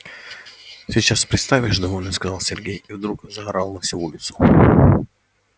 сейчас представишь довольно сказал сергей и вдруг заорал на всю улицу